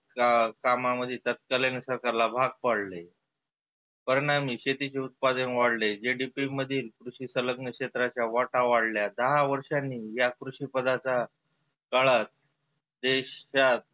का कामाध्ये तत्कालीन सरकारला भाग पाडले. परिनामी शेतीचे उत्पादन वाढले. JDP मधील कृषी सलग्न क्षेत्राच्या वाटा वाढल्या. दहा वर्षांनी या कृषी पदाचा काळात देशात